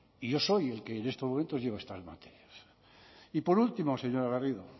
y yo soy el que en estos momentos lleva estas materias y por último señora garrido